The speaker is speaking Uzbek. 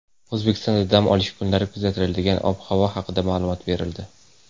O‘zbekistonda dam olish kunlari kuzatiladigan ob-havo haqida ma’lumot berildi.